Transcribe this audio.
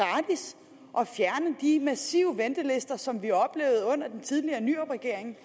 og at fjerne de massive ventelister som vi oplevede under den tidligere nyrupregering